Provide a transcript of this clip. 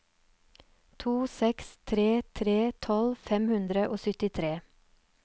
to seks tre tre tolv fem hundre og syttitre